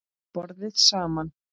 BORÐIÐ SAMAN